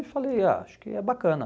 Eu falei, ah acho que é bacana.